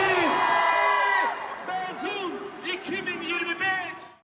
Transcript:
Məzun 2023!